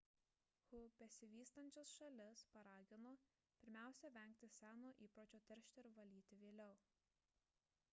hu besivystančias šalis paragino pirmiausia vengti seno įpročio teršti ir valyti vėliau